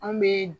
Anw bɛ